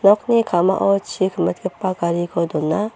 nokni ka·mao chi kimitgipa gariko dona.